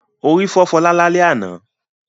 Orí fọ́ Fọlá lálẹ́ àná.